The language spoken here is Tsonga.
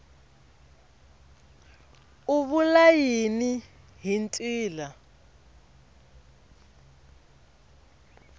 u vula yini hi ntila